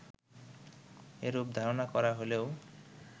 এরূপ ধারণা করা হলেও